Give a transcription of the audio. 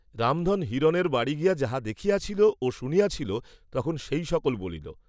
রামধন হিরণের বাড়ী গিয়া যাহা দেখিয়াছিল ও শুনিয়াছিল তখন সেই সকল বলিল।